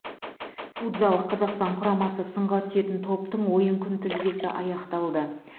футзал қазақстан құрамасы сынға түсетін топтың ойын күнтізбесі анықталды